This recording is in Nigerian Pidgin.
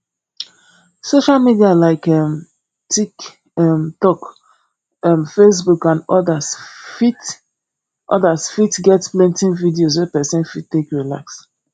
social media like um tik um tok um facebook and odas fit odas fit get plenty videos wey person fit take relax